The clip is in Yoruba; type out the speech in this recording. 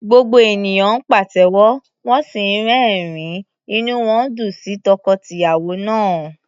Gbogbo ènìyàn ń pàtẹ́wọ́, wọ́n sì ń rẹ́rìn-ín, inú wọn dùn sí tọkọ-tìyàwó náà.